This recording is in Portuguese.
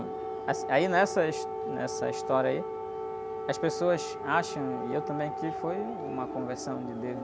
As, aí nessa his... Nessa história aí, as pessoas acham, e eu também, que foi uma conversão de Deus